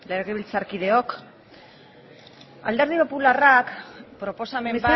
legebiltzarkideok alderdi popularrak proposamen